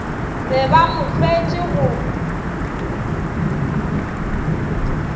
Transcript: be ba mo hloetše go